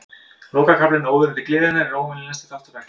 Lokakaflinn, Óðurinn til gleðinnar, er óvenjulegasti þáttur verksins.